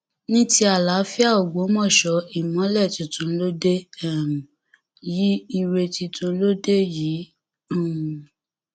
ní ti àlàáfíà ògbómọṣọ ìmọlẹ tuntun ló dé um yìí ire tuntun ló dé yìí um